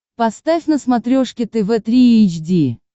поставь на смотрешке тв три эйч ди